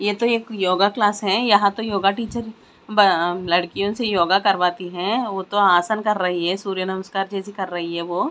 ये तो एक योगा क्लास हैं यहां तो योगा टीचर अ लड़कियों से योगा करवातीं हैं वो तो आसान कर रही है सूर्य नमस्कार जैसी कर रही है वो--